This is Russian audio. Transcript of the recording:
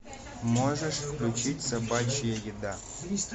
можешь включить собачья еда